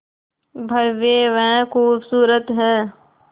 भव्य व खूबसूरत है